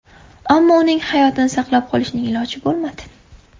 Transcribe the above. Ammo uning hayotini saqlab qolishning iloji bo‘lmadi.